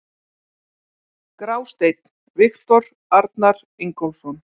Grásteinn: Viktor Arnar Ingólfsson.